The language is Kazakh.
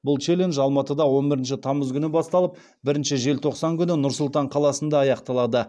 бұл челлендж алматыда он бірінші тамыз күні басталып бірінші желтоқсан күні нұр сұлтан қаласында аяқталды